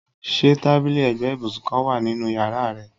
Ṣe tabili ẹgbẹ ibusun kan wa ninu yara rẹ?